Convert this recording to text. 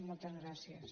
moltes gràcies